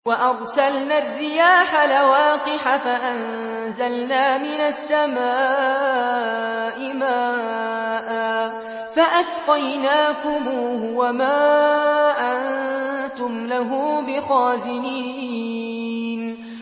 وَأَرْسَلْنَا الرِّيَاحَ لَوَاقِحَ فَأَنزَلْنَا مِنَ السَّمَاءِ مَاءً فَأَسْقَيْنَاكُمُوهُ وَمَا أَنتُمْ لَهُ بِخَازِنِينَ